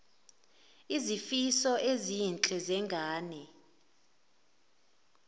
izifiso ezinhle zengane